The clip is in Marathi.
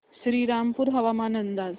श्रीरामपूर हवामान अंदाज